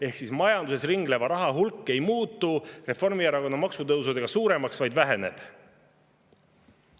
Ehk majanduses ringleva raha hulk ei muutu Reformierakonna maksutõusude järel suuremaks, vaid väheneb.